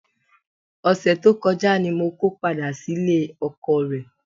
Ọ̀sẹ̀ tó kọjá ni mo ko padà sílé ọkọọ̀ rẹ.